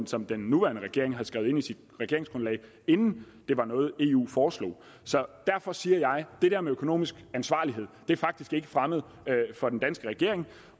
som den nuværende regering skrev ind i sit regeringsgrundlag inden det var noget eu foreslog så derfor siger jeg det der med økonomisk ansvarlighed er faktisk ikke fremmed for den danske regering